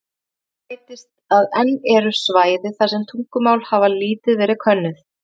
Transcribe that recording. Við þetta bætist að enn eru svæði þar sem tungumál hafa lítið verið könnuð.